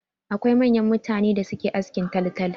Akwai manyan mutane da suke askin taltal.